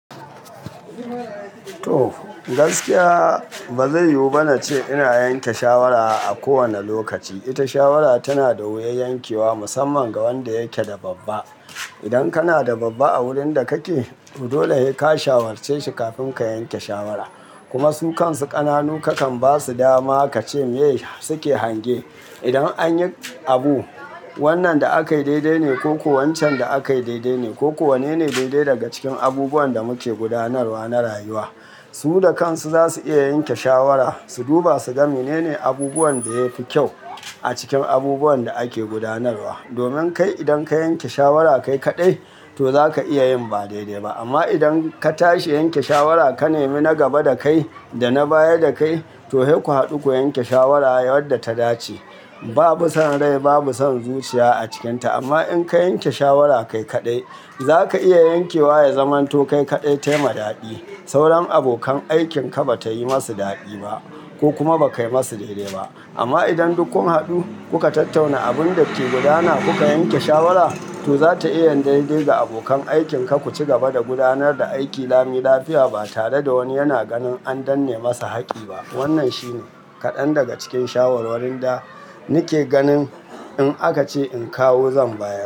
To, gaskiya ba zai yiwu ba na ce ina yanke shawara a kowane lokaci. Ita shawara tana da wuyar yankewa musamman ga wanda yake da babba. Idan kana da babba a wurin da kake, to dole ne sai ka shawarce shi kafin ka yanke shawara. Kuma su kan su ƙananu kakan ba su dama ka ce me su ke hange. Idan an yi abu, wannan da aka yi daidai ne ko ko wancan da aka yi daidai ne ko ko wane ne daidai daga cikin abubuwan da muke gudanarwa na rayuwa. Su da kansu za su iya yanke shawara, su duba su ga menene abubuwan da yafi kyau a cikin abubuwan da ake gudanarwa. Domin kai idan ka yanke shawara kai kaɗai, to zaka iya yin ba daidai ba. Amma idan ka tashi yanke shawara ka nemi na gaba da kai da na baya da kai, to hei ku haɗu ku yanke shawara yadda ta dace. Babu son rai, babu son zuciya a cikinta. Amma in ka yanke shawara kai kaɗai, zaka iya yankewa ya zamanto kai kaɗai ta yi ma daɗi. Sauran abokan aikinka ba ta yi masu daɗi ba, ko kuma ba kai masu daidai ba. Amma idan duk kun haɗu kuka tattauna abun da ke gudana ku ka yanke shawara, to za ta iya yin daidai ga abokan aikinka ku ci gaba da gudanar da aiki lami lafiya ba tare da wani yana ganin an danne masa haƙƙi ba. Wannan shi ne kaɗan daga cikin shawarwarin da nake ganin in aka ce in kawo zan bayar.